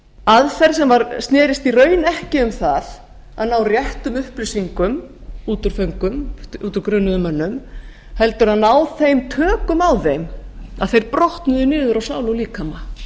aðferð sem snerist í raun ekki um það að ná réttum upplýsingum út úr föngum út úr grunuðum mönnum heldur að ná þeim tökum á þeim að þeir brotnuðu niður á sál og líkama